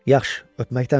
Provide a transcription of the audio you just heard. Yaxşı, öpməkdən bezib.